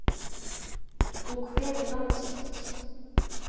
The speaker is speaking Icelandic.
Hún kveður land sitt.